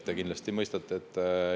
Te kindlasti mõistate.